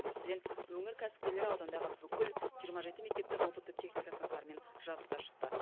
мәселен өңір кәсіпкерлері аудандағы бүкіл жиырма жеті мектепті роботты техника сыныптарымен жабдықтап шықты